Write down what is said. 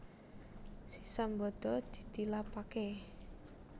Si Sambada ditilapaké